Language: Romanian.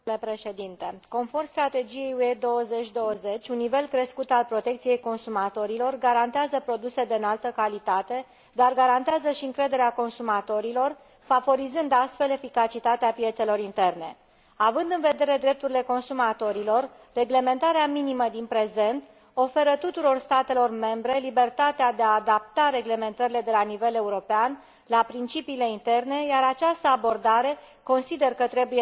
Conform strategiei UE 2020, un nivel crescut al protecției consumatorilor garantează produse de înaltă calitate, dar garantează și încrederea consumatorilor, favorizând astfel eficacitatea piețelor interne. Având în vedere drepturile consumatorilor, reglementarea minimă din prezent oferă tuturor statelor membre libertatea de a adapta reglementările de la nivel european la principiile interne, iar această abordare consider că trebuie menținută.